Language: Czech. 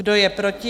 Kdo je proti?